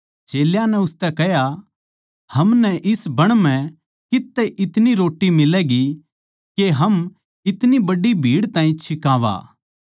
चेल्यां नै उसतै कह्या हमनै इस बण म्ह कित्त तै इतनी रोट्टी मिलैगी के हम इतनी बड्डी भीड़ ताहीं छिकावा